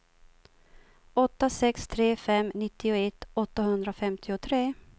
åtta sex tre fem nittioett åttahundrafemtiotre